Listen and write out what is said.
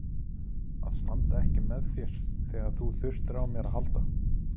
Að standa ekki með þér þegar þú þurftir á mér að halda.